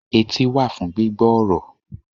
Etí wà fún gbígbọ́ ọ̀rọ̀